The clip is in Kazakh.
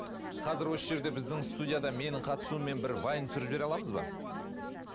қазір осы жерде біздің студияда менің қатысуыммен бір вайн түсіріп жібере аламыз ба